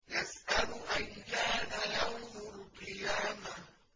يَسْأَلُ أَيَّانَ يَوْمُ الْقِيَامَةِ